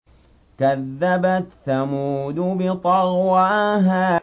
كَذَّبَتْ ثَمُودُ بِطَغْوَاهَا